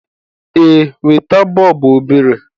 Ee, weta. bọọbụ obere